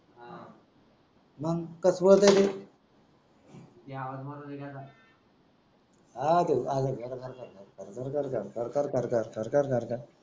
हा ते खर खर खर खर